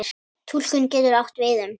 Túlkun getur átt við um